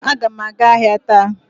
Aga m aga ahịa taa